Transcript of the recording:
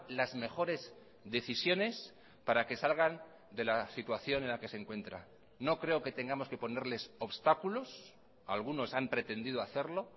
las mejores decisiones para que salgan de la situación en la que se encuentran no creo que tengamos que ponerles obstáculos algunos han pretendido hacerlo